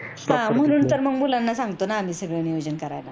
हा म्हणून तर आम्ही मुलांना सांगतो न सगळ नियोजन करायला